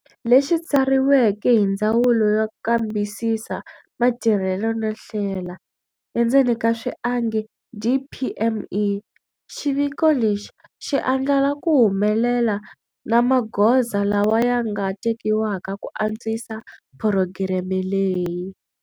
Lexi tsariweke hi Ndzawulo yo Kambisisa Matirhelo no Hlela, DPME. Xiviko lexi xi andlala ku humelela na magoza lawa ya nga tekiwaka ku antswisa phurogireme leyi.